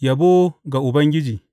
Yabo ga Ubangiji.